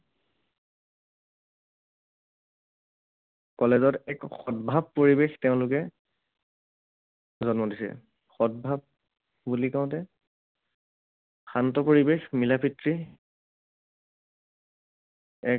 College ত এক সদ্ভাৱ পৰিৱেশ তেওঁলোকে জন্ম দিছে। সদ্ভাৱ বুলি কওঁতে শান্ত পৰিৱেশ, মিলাপ্ৰীতি এক